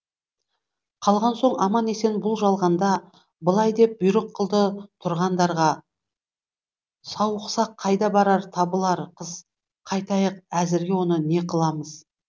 қалған соң аман есен бұл жалғанда былай деп бұйрық қылды тұрғандарға сауықсақ қайда барар табылар қыз қайтайық әзірге оны не қыламыз